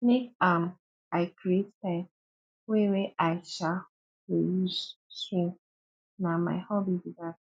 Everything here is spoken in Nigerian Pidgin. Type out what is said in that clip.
make um i create time wey wey i um go dey use swim na my hobby be dat